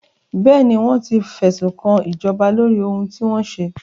Bẹ́ẹ̀ni, wọ́n ti fẹ̀sùnkan ìjọba lóri ohun tí wọ́n ṣe.